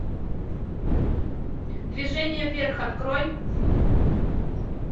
движение вверх открой